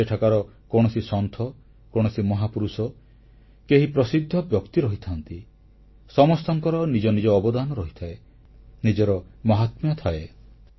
ସେଠାକାର କୌଣସି ସନ୍ଥ କୌଣସି ମହାପୁରୁଷ କେହି ପ୍ରସିଦ୍ଧ ବ୍ୟକ୍ତି ରହିଥାନ୍ତି ସମସ୍ତଙ୍କର ନିଜ ନିଜ ଅବଦାନ ରହିଥାଏ ନିଜର ମହାତ୍ମ୍ୟ ଥାଏ